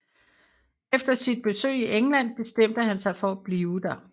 Efter sit besøg i England bestemte han sig for at blive der